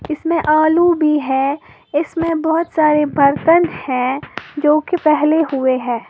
इसमें आलू भी है इसमें बोहोत सारे बर्तन है जोकि फेले हुए है।